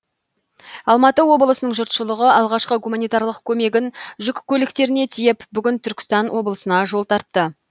алматы облысының жұртшылығы алғашқы гуманитарлық көмегін жүк көліктеріне тиеп бүгін түркістан облысына жол тартты